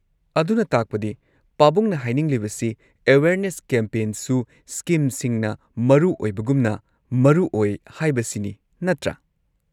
ꯑꯗꯨꯅ ꯇꯥꯛꯄꯗꯤ ꯄꯥꯕꯨꯡꯅ ꯍꯥꯏꯅꯤꯡꯂꯤꯕꯁꯤ ꯑꯦꯋꯦꯔꯅꯦꯁ ꯀꯦꯝꯄꯦꯟꯁꯨ ꯁ꯭ꯀꯤꯝꯁꯤꯡꯅ ꯃꯔꯨ ꯑꯣꯏꯕꯒꯨꯝꯅ ꯃꯔꯨ ꯑꯣꯏ ꯍꯥꯏꯕꯁꯤꯅꯤ ꯅꯠꯇ꯭ꯔꯥ?